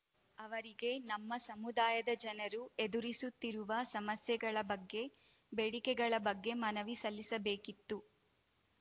ಅವರಿಗೆ ನಮ್ಮ ಸಮುದಾಯದ ಜನರು ಎದುರಿಸುತ್ತಿರುವ ಸಮಸ್ಯೆಗಳ ಬಗ್ಗೆ ಬೇಡಿಕೆಗಳ ಬಗ್ಗೆ ಮನವಿ ಸಲ್ಲಿಸಬೇಕಿತ್ತು